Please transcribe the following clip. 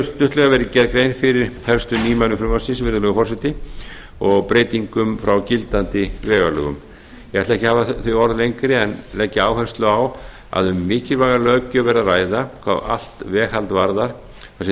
stuttlega verið gerð grein fyrir helstu nýmælum frumvarpsins virðulegur forseti og breytingum frá gildandi vegalögum ég ætla ekki að bera þau orð lengri en leggja áherslu á að um mikilvæga löggjöf er að ræða hvað allt veghald varðar þar sem